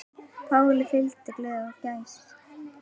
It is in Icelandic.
Páli fylgir gleði og gæska.